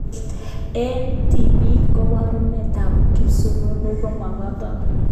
Eng tipik koborunetab kipsununut komataku